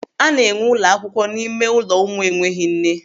A na enwee ụlọakwụkwọ n'ime ụlọ ụmụ enweghị nne.